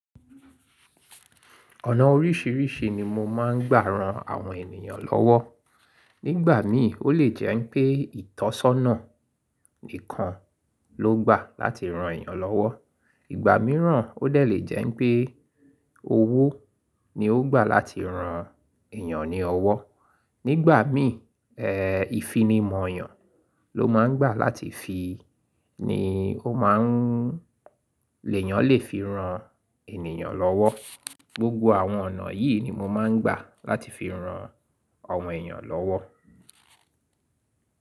Ọ̀nà oríṣìíríṣìí ni mo máa ń gbà ran àwọn ènìyàn lọ́wọ́. Nígbà míì ó lè jẹ́ pé ìtọ́sọ́nà nìkan ló gbà láti ran èèyàn lọ́wọ́, ìgbà míràn ó lè jẹ́ pé owó ni ó gbà láti ran èèyàn ní ọwọ́. Nígbà míì, ẹ̀, ìfinimọ̀ eeyàn ló máa ń gbà láti fi ni ó má ń lè yàn lè fi ran ènìyàn lọ́wọ́. Gbogbo àwọn ọ̀nà yìí ni mo máa ń gbà láti fi ran àwọn èèyàn lọ́wọ́.